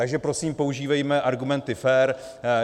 Takže prosím používejme argumenty fér.